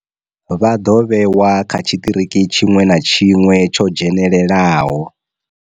Vha ḓo vhewa kha tshiṱiriki tshiṅwe na tshiṅwe tsho dzhenelelaho.